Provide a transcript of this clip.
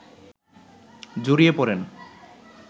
জড়িয়ে পড়েন